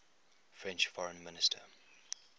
french foreign minister